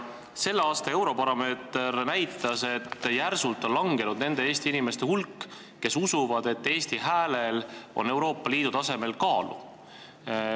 Selle aasta Eurobaromeeter näitas, et järsult on vähenenud nende Eesti inimeste hulk, kes usuvad, et Eesti häälel on Euroopa Liidu tasemel kaalu.